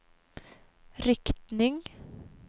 riktning